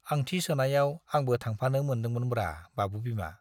आंथि सोनायाव आंबो थांफानो मोन्दोंमोनब्रा बाबु बिमा।